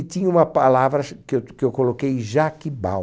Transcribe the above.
E tinha uma palavra ch que eu t que eu coloquei, Jaquibal.